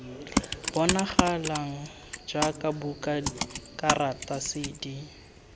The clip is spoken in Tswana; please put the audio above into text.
bonagalang jaaka buka karata cd